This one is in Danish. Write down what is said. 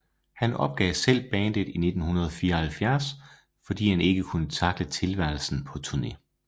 Han opgav selv bandet i 1974 fordi han ikke kunne takle tilværelsen på turné